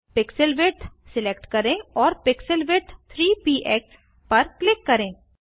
pixel width select करें और pixel width 3 pix पर क्लिक करें